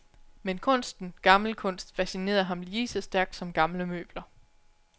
Men kunsten, gammel kunst, fascinerede ham lige så stærkt som gamle møbler.